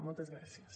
moltes gràcies